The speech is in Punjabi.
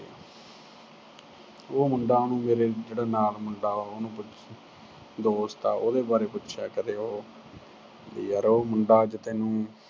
ਉਹ ਮੁੰਡਾ ਉਹਨੂੰ ਮੇਰੇ ਜਿਹੜਾ ਨਾਲ ਮੁੰਡਾ ਉਹਨੂੰ ਪੁੱਛ ਅਹ ਦੋਸਤ ਆ ਉਹਦੇ ਬਾਰੇ ਪੁੱਛਿਆ ਕਰੇ ਉਹ ਵੀ ਯਾਰ ਉਹ ਮੁੰਡਾ ਅੱਜ ਤੈਨੂੰ